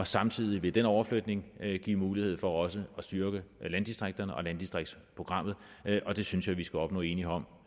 samtidig vil den overflytning give mulighed for også at styrke landdistrikterne og landdistriktsprogrammet og det synes jeg vi skal opnå enighed om